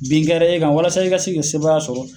Bin kɛra e kan walasa i ka se ka sebaaya sɔrɔ.